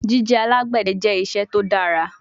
Jije alagbẹdẹ jẹ iṣẹ to dara